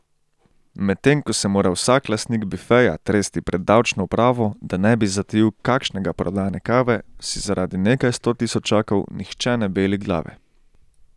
Medtem ko se mora vsak lastnik bifeja tresti pred davčno upravo, da ne bi zatajil kakšnega prodane kave, si zaradi nekaj sto tisočakov nihče ne beli glave.